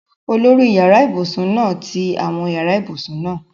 Olórí yàrá ibùsùn náà ti àwọn yàrá ibùsùn náà